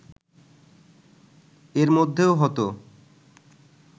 এরমধ্যেও হতো